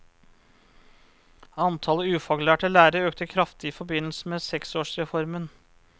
Antallet ufaglærte lærere økte kraftig i forbindelse med seksårsreformen.